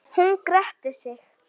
Jafn vel og hún?